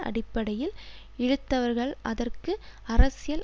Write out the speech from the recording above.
அடிப்படையில் இழுத்தவர்கள் அதற்கு அரசியல்